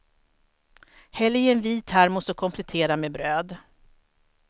Häll i en vid termos och komplettera med bröd.